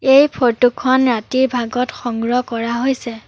এই ফটোখন ৰাতিৰ ভাগত সংগ্ৰহ কৰা হৈছে।